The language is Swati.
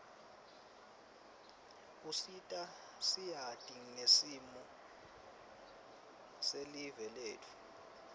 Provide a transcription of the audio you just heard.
usita siati ngesimo selive letfu